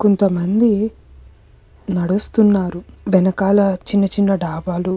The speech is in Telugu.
కొంత మంది నడుస్తున్నారు వెనకాల చిన్న చిన్న డాబాలు --